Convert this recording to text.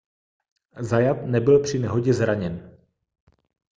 zayat nebyl při nehodě zraněn